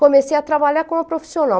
Comecei a trabalhar como profissional.